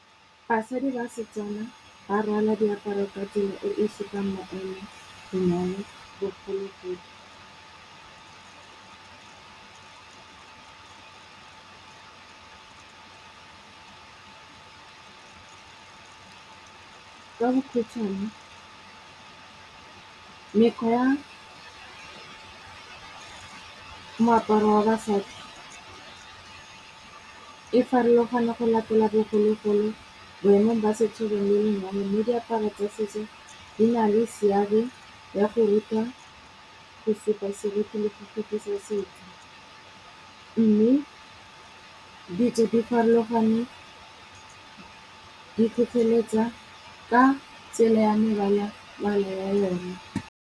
Basadi ba setswana ba rwala diaparo ka tsela e e sekang maemo go na le bogologolo. Ka bokhutswane mekgwa ya, moaparo wa basadi, e farologana go latela bogologolo, boemong ba setso le le diaparo tsa setso di na le seabe ya go ruta go supa seriti le go fetisa setso. Mme ditso di farologane di tlhotlheletsa ka tsela ya mebalabala yona.